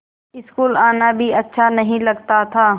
school आना भी अच्छा नहीं लगता था